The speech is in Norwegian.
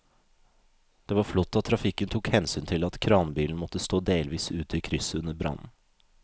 Det var flott at trafikken tok hensyn til at kranbilen måtte stå delvis ute i krysset under brannen.